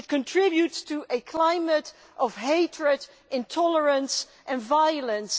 It contributes to a climate of hatred, intolerance and violence.